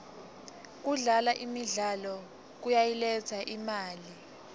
kudlala imidlalo kuyayiletsa imali